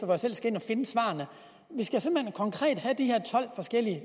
jeg selv skal ind og finde svarene vi skal simpelt hen konkret have de her tolv forskellige